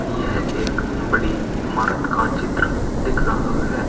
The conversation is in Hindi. यह एक बड़ी इमारत का चित्र दिख रहा है।